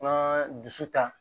An ka dusu ta